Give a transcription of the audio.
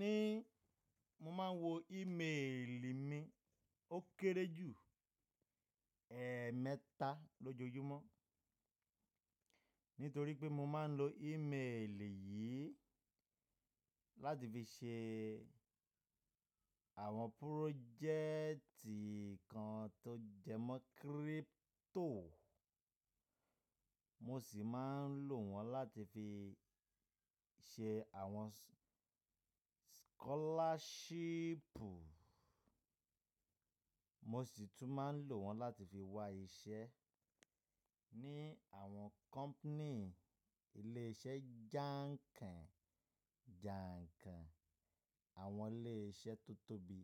Ní mo máa ń wo ímeèlì mi ó kéré jù ẹ́ẹ̀mẹta lójoojúmọ́. Nítorí pé mo máa ń lo ímeèlì yìí láti fi ṣe àwọn project kan tó jẹmọ́ crypto, mo sì máa ń lò wọ́n láti fi ṣe àwọn scholarship, mo sì tún máa ń lò wọ́n láti fi wá iṣẹ́ ní àwọn company, ilé iṣẹ́ jáǹkàn, jàǹkàn, àwọn ilé iṣẹ́ tó tóbi.